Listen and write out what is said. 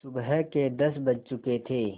सुबह के दस बज चुके थे